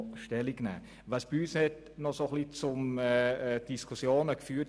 Die bestehenden Diskrepanzen haben bei uns noch zu Diskussionen geführt.